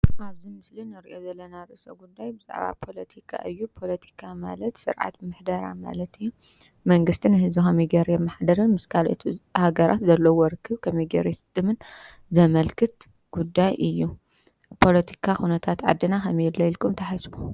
አብዚ ምስሊ እንሪኦ ዘለና ርእሰ ጉዳይ ብዛዕባ ፓሎቲካ እዩ። ፓሎቲካ ማለት ስርዓት መሕደራ ማለት እዩ። መንግስቲ ህዝቢ ከመይ ገይሩ የማሓደርን ምስ ካልኣት ሃገራት ዘለዎ ርክብ ከመይ ገይሩ ዘስጥምን ዘምልክት ጉዳይ እዩ። ፖሎቲካ ኩነታት ዓደና ከመይ አሎ ኢልኩም ተሓስቡ?